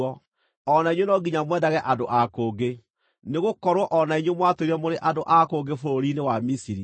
O na inyuĩ no nginya mwendage andũ a kũngĩ, nĩgũkorwo o na inyuĩ mwatũũire mũrĩ andũ a kũngĩ bũrũri-inĩ wa Misiri.